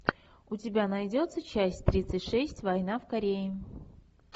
у тебя найдется часть тридцать шесть война в корее